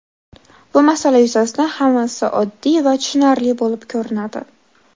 Bu masala yuzasidan hammasi oddiy va tushunarli bo‘lib ko‘rinadi.